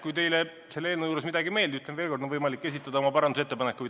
Kui teile selle eelnõu juures midagi ei meeldi, siis ütlen veel kord: on võimalik esitada oma parandusettepanekuid.